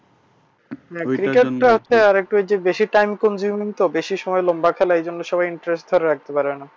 সেটা তো একটা আছে আরেকটা বেশি time consuming তো বেশি সময় লম্বা খেলে এই জন্য interest ও রাখতে পারেনা।